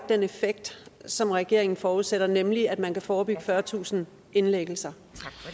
den effekt som regeringen forudsætter nemlig at man kan forebygge fyrretusind indlæggelser